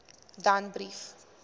danbrief